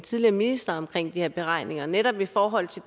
tidligere minister om de her beregninger netop i forhold til